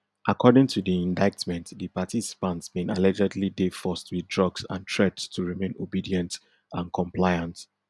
according to di indictment di participants bin allegedly dey forced wit drugs and threats to remain obedient and compliant